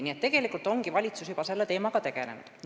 Nii et tegelikult ongi valitsus juba selle teemaga tegelenud.